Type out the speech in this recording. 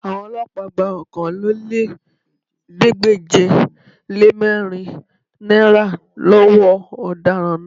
Àwọn Ọlọ́pàá gba Okòólélẹ́ẹ̀ẹ́dégbèje-le-mẹ́rin náírà lọ́wọ́ ọ̀daràn